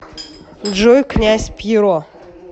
джой князь пьеро